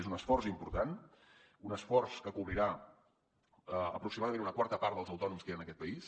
és un esforç important un esforç que cobrirà aproximadament una quarta part dels autònoms que hi ha en aquest país